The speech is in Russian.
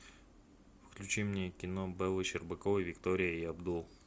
включи мне кино беллы щербаковой виктория и абдул